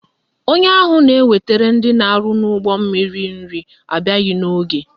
Onye ahụ na-ewetara ndị na-arụ n'ụgbọmmiri nri abịaghị n'oge.